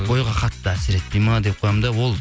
бойға қатты әсер етпейді ме деп қоямын да ол